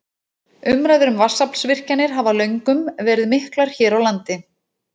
Umræður um vatnsaflsvirkjanir hafa löngum verið miklar hér á landi.